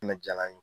Ne jala n ye